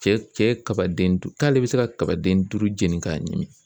Cɛ cɛ kabaden du k'ale bɛ se ka kabaden duuru jeni k'a ɲimi.